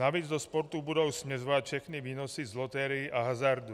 Navíc do sportu budou směřovat všechny výnosy z loterií a hazardu.